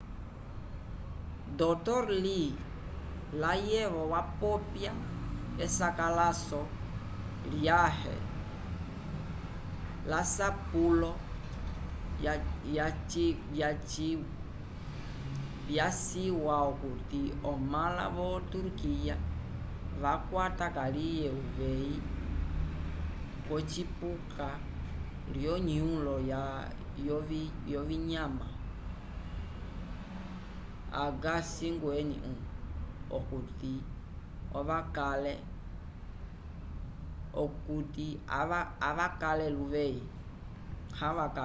dr. lee layevo wapopya esakalaso lyãhe lasapulo vyaciwa okuti omãla vo-turkiya vakwata kaliye uveyi wocipuka lyonũlo yovinyama a h5n1 okuti avakale luveyi